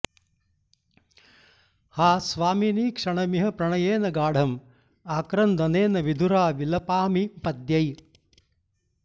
हा स्वामिनि क्षणमिह प्रणयेन गाढं आक्रन्दनेन विधुरा विलपामि पद्यैः